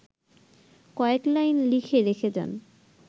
কয়েক লাইন লিখে রেখে যান